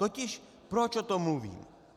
Totiž proč o tom mluvím.